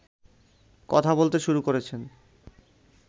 কথা বলতে শুরু করেছেন